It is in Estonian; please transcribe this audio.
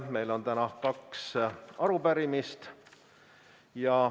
Meil on täna kaks arupärimist.